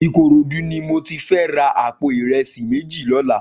Ikorodu ni mó ti fè rà àpó irẹsi méji lòlá